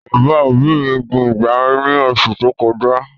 Bàbá òbí mi gbin ìgbá ní oṣù tó kọjá